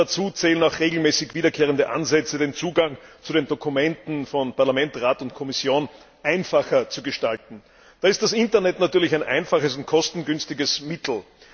Dazu zählen auch regelmäßig wiederkehrende Ansätze, den Zugang zu den Dokumenten von Parlament, Rat und Kommission einfacher zu gestalten. Da ist das Internet natürlich ein einfaches und kostengünstiges Mittel.